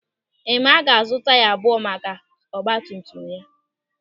Ịmaa ga-azụ taya abụọ maka ọgbatumtum ya.